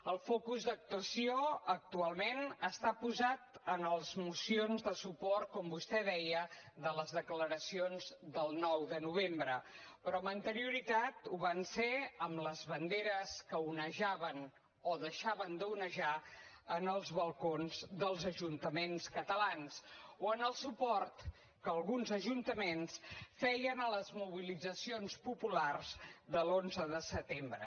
el focus d’actuació actualment està posat en les mocions de suport com vostè deia de les declaracions del nou de novembre però amb anterioritat ho va estar en les banderes que onejaven o deixaven d’onejar en els balcons dels ajuntaments catalans o en el suport que alguns ajuntaments feien a les mobilitzacions populars de l’onze de setembre